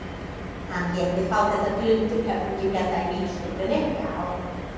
Hann lét mig fá þetta glundur höfðinginn hérna í vínstúkunni, já.